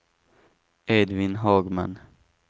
Edvin Hagman